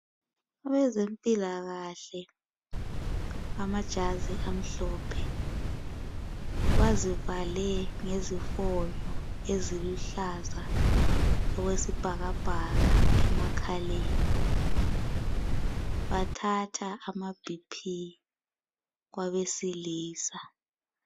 Abezempilakahle, bamajazi amhlophe bazivale ngezifonyo eziluhlaza okwesibhakabhaka, emakhaleni. Bathatha amaBp, kwabesilisa.